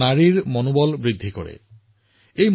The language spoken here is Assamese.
কেৱল সেয়াই নহয় ই আৰক্ষীৰ ওপৰত ৰাইজৰ আস্থাও বৃদ্ধি কৰিব